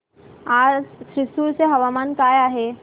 आज थ्रिसुर चे हवामान काय आहे